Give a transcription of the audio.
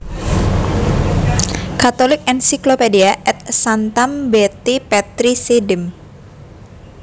Catholic Encyclopedia Ad Sanctam Beati Petri Sedem